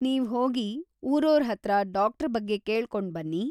ನೀವ್ ಹೋಗಿ ಊರೋರ್‌ ಹತ್ರ ಡಾಕ್ಟ್ರ ಬಗ್ಗೆ ಕೇಳ್ಕೊಂಡ್‌ ಬನ್ನಿ.